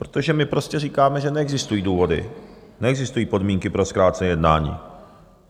Protože my prostě říkáme, že neexistují důvody, neexistují podmínky pro zkrácené jednání.